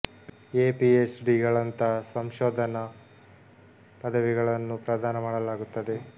A PhD ಗಳಂಥ ಸಂಶೋಧನ ಪದವಿಗಳನ್ನೂ ಪ್ರದಾನ ಮಾಡಲಾಗುತ್ತದೆ